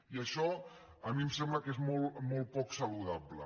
i això a mi em sembla que és molt poc saludable